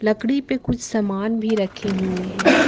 लकड़ी पे कुछ सामान भी रखे हुए है।